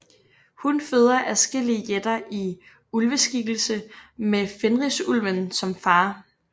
Hun føder adskillige jætter i ulveskikkelse med Fenrisulven som far